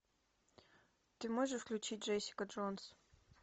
ты можешь включить джессика джонс